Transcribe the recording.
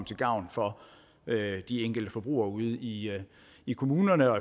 til gavn for de enkelte forbrugere ude i i kommunerne